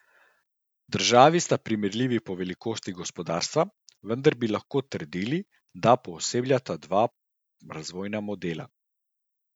Državi sta primerljivi po velikosti gospodarstva, vendar bi lahko trdili, da poosebljata dva razvojna modela.